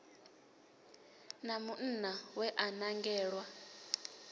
na munna we a nangelwa